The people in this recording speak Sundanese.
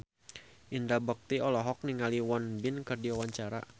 Indra Bekti olohok ningali Won Bin keur diwawancara